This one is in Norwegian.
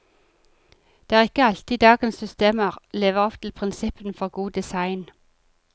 Det er ikke alltid dagens systemer lever opp til prinsippene for god design.